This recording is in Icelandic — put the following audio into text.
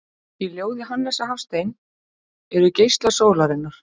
Í ljóði Hannesar Hafstein eru geislar sólarinnar